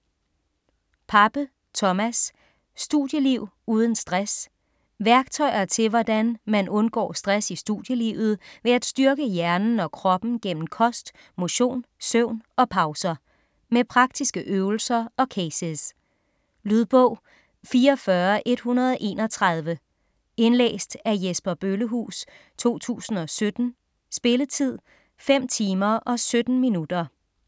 Pape, Thomas: Studieliv uden stress Værktøjer til hvordan undgår stress i studielivet ved at styrke hjernen og kroppen gennem kost, motion, søvn og pauser. Med praktiske øvelser og cases. Lydbog 44131 Indlæst af Jesper Bøllehuus, 2017. Spilletid: 5 timer, 17 minutter.